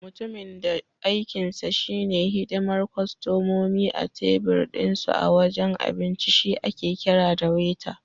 Mutumin da aikinsa shi ne hidimar kostomomi a tebir dinsu a wajen abinci shi ake kira da Waiter.